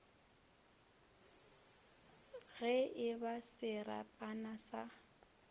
ge e ba serapana sa